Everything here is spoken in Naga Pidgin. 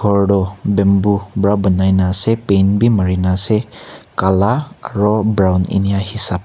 ghor tu bamboo para banai na ase paint bhi mari na ase kala aru brown enia hisab--